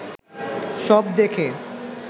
সব দেখে